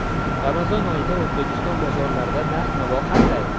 Ramazon oyida O‘zbekiston bozorlarida narx-navo qanday?.